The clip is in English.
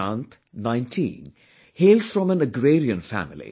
Prashant, 19, hails from an agrarian family